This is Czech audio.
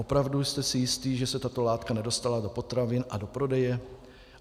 Opravdu jste si jist, že se tato látka nedostala do potravin a do prodeje?